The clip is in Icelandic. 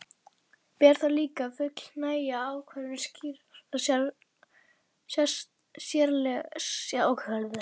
Ber þá líka að fullnægja ákvæðum slíkra sérlaga ef félögin hyggjast starfa á starfsvettvangi laganna.